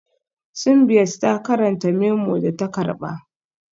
Simbiat na karanta memo da ta karba